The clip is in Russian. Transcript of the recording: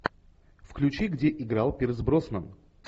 включи где играл пирс броснан